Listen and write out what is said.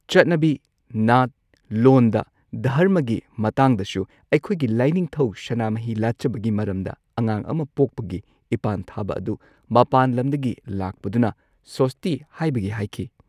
ꯆꯠꯅꯕꯤ ꯅꯥꯠ ꯂꯣꯟꯗ ꯙꯔꯃꯒꯤ ꯃꯇꯥꯡꯗꯁꯨ ꯑꯩꯈꯣꯏꯒꯤ ꯂꯥꯏꯅꯤꯡꯊꯧ ꯁꯅꯥꯃꯍꯤ ꯂꯥꯠꯆꯕꯒꯤ ꯃꯔꯝꯗ ꯑꯉꯥꯡ ꯑꯃ ꯄꯣꯛꯄꯒꯤ ꯏꯄꯥꯟ ꯊꯥꯕ ꯑꯗꯨ ꯃꯄꯥꯟ ꯂꯝꯗꯒꯤ ꯂꯥꯛꯄꯗꯨꯅ ꯁꯣꯁꯇꯤ ꯍꯥꯏꯕꯒꯤ ꯍꯥꯏꯈꯤ꯫